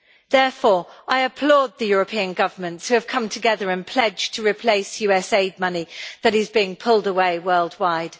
Therefore I applaud the European governments which have come together and pledged to replace US aid money that is being pulled away worldwide.